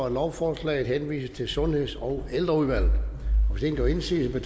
at lovforslaget henvises til sundheds og ældreudvalget hvis ingen gør indsigelse